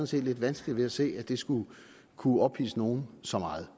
set lidt vanskeligt ved at se at det skulle kunne ophidse nogen så meget